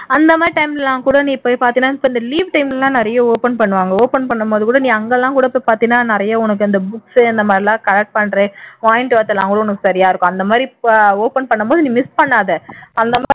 அந்த மாதிரி time எல்லாம்கூட நீ போய் பாத்தீன்னா இந்த leave time ல எல்லாம் நிறைய open பண்ணுவாங்க open பண்ணும் போது கூட நீ அங்கெல்லாம் கூட போய் பார்த்தீனா நிறைய உனக்கு அந்த books இந்த மாதிரி எல்லாம் collect பண்ற point அந்த மாதிரி open பண்ணும்போது நீ miss பண்ணாதே